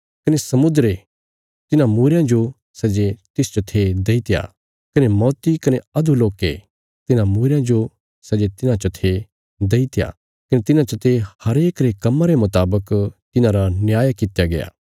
कने समुद्रे तिन्हां मूईरयां जो सै जे तिसच थे दईत्या कने मौती कने अधोलोके तिन्हां मूईरयां जो सै जे तिन्हां च थे देईत्या कने तिन्हां चते हरेक रे कम्मां रे मुतावक तिन्हांरा न्याय कित्या गया